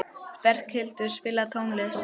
Berghildur, spilaðu tónlist.